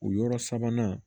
O yɔrɔ sabanan